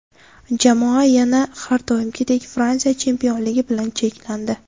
Jamoa yana har doimgidek Fransiya chempionligi bilan cheklandi.